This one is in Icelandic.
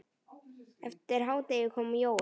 Eftir hádegi kom Jói.